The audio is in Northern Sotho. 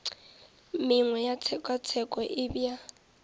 mengwe ya tshekatsheko e bea